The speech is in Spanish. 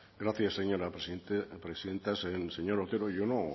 gracias señora presidenta señor otero yo no